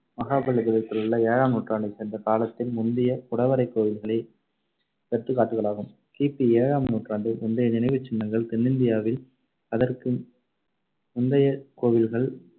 மகாபலிபுரத்திலுள்ள ஏழாம் நூற்றாண்டைச் சேர்ந்த காலத்தில் முந்திய குடைவரைக் கோவில்களே எடுத்துக்காட்டுகளாகும். கி பி ஏழாம் நூற்றாண்டு முந்தைய நினைவுச்சின்னங்கள் தென்னிந்தியாவில் அதற்கு முந்தைய கோவில்கள்